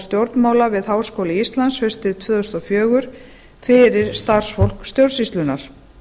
stjórnmála við háskóla íslands haustið tvö þúsund og fjögur fyrir starfsfólk stjórnsýslunnar